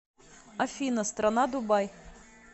афина страна дубай